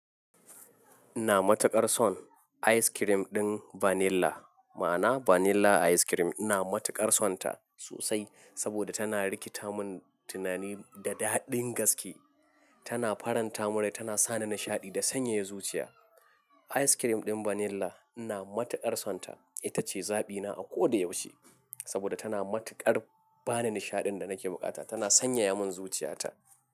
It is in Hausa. Ina matuƙar son ice cream ɗin vanilla. Ma'ana vanilla ice cream ina matuƙar son ta sosai saboda tana rikita mun tunani da daɗin gaske. Tana faranta mun rai tana sani nishaɗi da sanyaya zuciya. Ice cream ɗin vanilla ina matuƙar son ta. Ita ce zaɓina a koda yaushe saboda tana matuƙar bani nishaɗin da nake bukata. Tana sanyaya mun zuciyata.